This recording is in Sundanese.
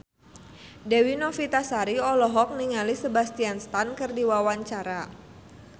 Dewi Novitasari olohok ningali Sebastian Stan keur diwawancara